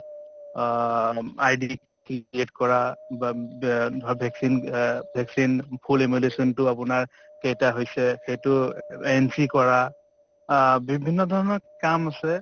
অ ID ক্ৰি create কৰা বা ব ভ vaccine অ vaccine full emulsion টো আপোনাৰ কেইটা হৈছে সেইটো entry কৰা , অ বিভিন্ন ধৰণৰ কাম আছে।